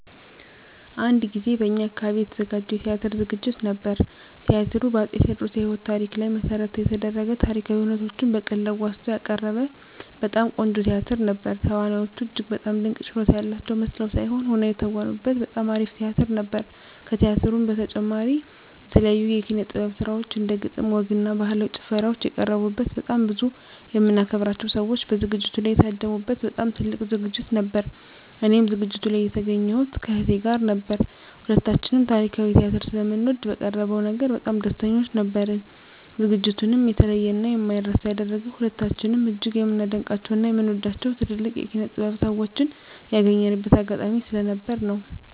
አንድ ጊዜ በእኛ አካባቢ የተዘጋጀ የቲያትር ዝግጅት ነበር። ቲያትሩ በ አፄ ቴዎድሮስ የህይወት ታሪክ ላይ መሰረት የደረገ ታሪካዊ ሁነቶችን በቀልድ አዋዝቶ ያቀረበ በጣም ቆንጆ ቲያትር ነበር። ተዋናዮቹ እጅግ በጣም ድንቅ ችሎታ ያላቸው መስለው ሳይሆን ሆነው የተወኑበት በጣም አሪፍ ቲያትር ነበር። ከቲያትሩ በተጨማሪም የተለያዩ የኪነ - ጥበብ ስራዎች እንደ ግጥም፣ ወግ እና ባህላዊ ጭፈራዎች የቀረቡበት በጣም ብዙ የምናከብራቸው ሰዎች በዝግጅቱ ላይ የታደሙ በት በጣም ትልቅ ዝግጅት ነበር። እኔም ዝግጅቱ ላይ የተገኘሁት ከእህቴ ጋር ነበር። ሁለታችንም ታሪካዊ ቲያትር ስለምንወድ በቀረበው ነገር በጣም ደስተኞች ነበርን። ዝግጅቱንም የተለየ እና የማይረሳ ያደረገው ሁለታችንም እጅግ የምናደንቃቸው እና የምንወዳቸውን ትልልቅ የኪነ -ጥበብ ሰዎችን ያገኘንበት አጋጣሚ ስለነበር ነው።